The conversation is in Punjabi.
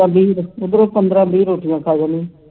ਉਧਰੋਂ ਪੰਦਰਾਂ ਵੀਹ ਰੋਟੀਆਂ ਖਾ ਜਾਨੀ ਐਂ